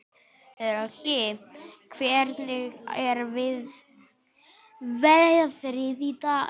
Röggi, hvernig er veðrið í dag?